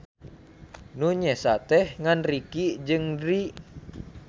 Nu nyesa teh ngan Ricky jeung Drie.